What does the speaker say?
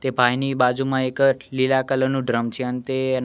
તે પાણીની બાજુમાં એક લીલા કલર નુ ડ્રમ છે અને તે--